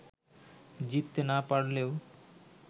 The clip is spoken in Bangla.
জিততে না পারলেও